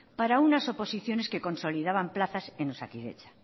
para unas oposiciones que consolidaban plazas en osakidetza